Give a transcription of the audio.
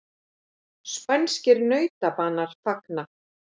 Spænskir nautabanar fagna